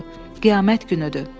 Qiyamət günüdür.